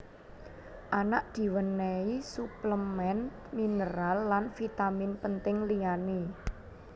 Anak diwènèhi suplemèn mineral lan vitamin penting liyané